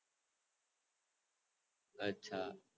અચ્છા